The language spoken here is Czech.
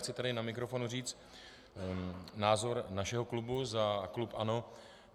Chci tady na mikrofon říct názor našeho klubu, za klub ANO.